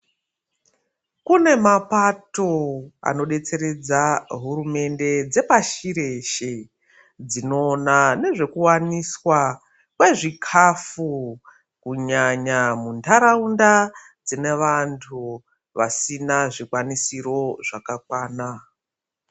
Kune mapato anodetseredza hurumende dzepashi reshe dzinoona nezvekuwaniswa kwezvikafu kunyanya mundaraunda dzine vanhu vasina zvikwanisiro zvakakwana .